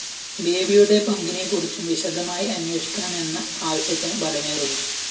ബേബിയുടെ പങ്കിനെക്കുറിച്ചും വിശദമായി അന്വേഷിക്കണമെന്ന ആവശ്യത്തിന് ബലമേറുന്നു